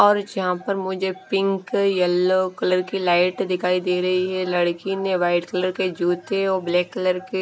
और यहां पर मुझे पिंक येलो कलर की लाइट दिखाई दे रही है लड़की ने वाइट कलर के जो थे वो ब्लैक कलर के--